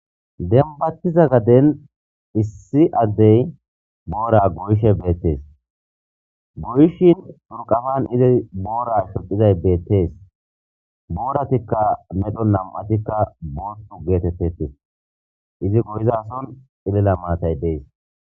Demibatiza garden issi addey Bora goyishe beteesi goyishin izi xuriqapani Bora shocizayis beteesi boratikka namatikka bothi getetetees izi bolakka cilila naty deesi